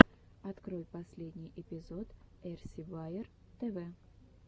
открой последний эпизод эрси баер тв